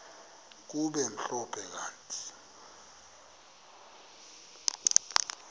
kube mhlophe kanti